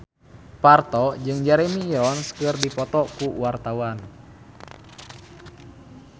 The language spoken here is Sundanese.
Parto jeung Jeremy Irons keur dipoto ku wartawan